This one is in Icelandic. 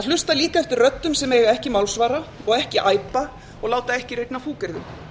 hlusta líka eftir röddum sem eiga ekki málsvara og ekki æpa og láta ekki rigna fúkyrðum